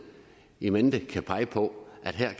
in mente kan pege på at der